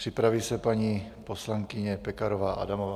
Připraví se paní poslankyně Pekarová Adamová.